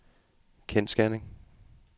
kendsgerning